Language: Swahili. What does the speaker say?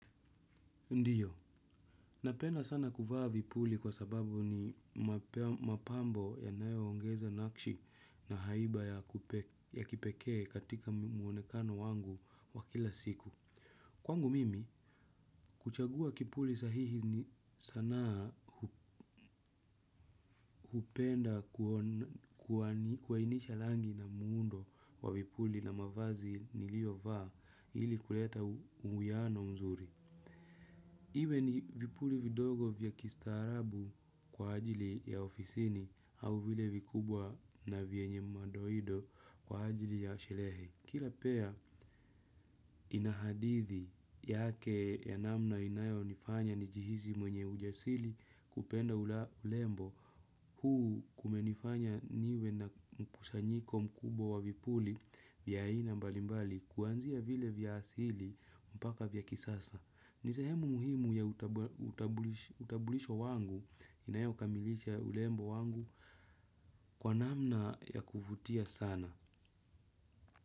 Ndiyo, napenda sana kuvaa vipuli kwa sababu ni mapambo yanayo ongeza nakshi na haiba ya kipekee katika muonekano wangu wa kila siku. Kwangu mimi, kuchagua kipuli sahihi ni sanaa hupenda kuhainisha rangi na muundo wa vipuli na mavazi nilio vaa ili kuleta uwiano mzuri. Iwe ni vipuli vidogo vya kistaarabu kwa ajili ya ofisini au vile vikubwa na vienye madoido kwa ajili ya sherehe. Kila pair ina hadithi yake ya namna inayo nifanya nijihisi mwenye ujasiri kupenda urembo. Huu kumenifanya niwe na mkusanyiko mkubwa wa vipuli vya ina mbalimbali kuanzia vile vya asili mpaka vya kisasa. Ni sehemu muhimu ya utambulisho wangu inayo kamilisha urembo wangu kwa namna ya kufutia sana.